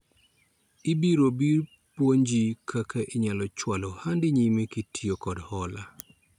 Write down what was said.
Ibiro biro apuonji kaka inyalo chwalo ohandi nyime kitiyo kod hola